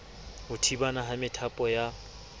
ho thibana ha methapo ya